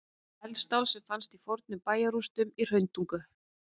Eldstál sem fannst í fornum bæjarrústum í Hrauntungu.